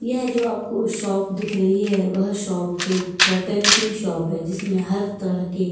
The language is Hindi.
यह जो आपको शॉप दिख रही है। वह शॉप एक कर्टन की शॉप है जिसमें हर तरह के--